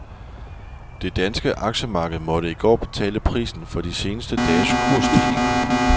Det danske aktiemarked måtte i går betale prisen for de seneste dages kursstigninger.